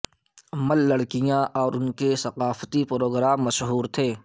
مل لڑکیاں اور ان کے ثقافتی پروگرام مشہور تھے